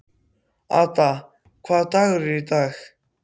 Ada, hvaða dagur er í dag?